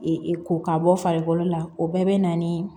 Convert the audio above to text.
ko ka bɔ farikolo la o bɛɛ bɛ na ni